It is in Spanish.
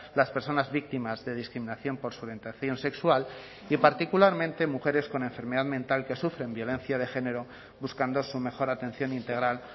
las personas víctimas de discriminación por su orientación sexual y particularmente mujeres con enfermedad mental que sufren violencia de género buscando su mejor atención integral